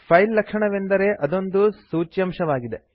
file ಲಕ್ಷಣವೆಂದರೆ ಅದೊಂದು ಸೂಚ್ಯಂಶವಾಗಿದೆ